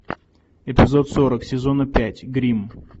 эпизод сорок сезона пять гримм